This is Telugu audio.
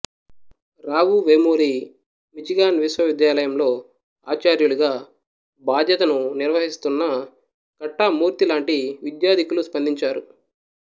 రావు వేమూరి మిచిగాన్ విశ్వవిద్యాలయంలో ఆచార్యులుగా బాధ్యతను నిర్వహిస్తున్న కట్టా మూర్తి లాంటి విద్యాధికులు స్పందించారు